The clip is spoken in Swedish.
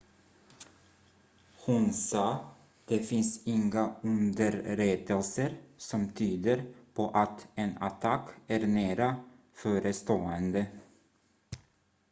"hon sa: "det finns inga underrättelser som tyder på att en attack är nära förestående.""